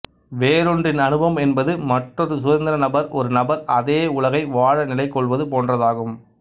வேறொன்றின் அனுபவம் என்பது மற்றொரு சுதந்திர நபர் ஒரு நபர் அதே உலகை வாழ நிலைக் கொள்வது போன்றதாகும்